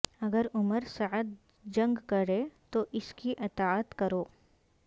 اگر Umar Saad جنگ کرے تو اس کی اطاعت کرو